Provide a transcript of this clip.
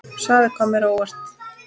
Svarið kom mér á óvart.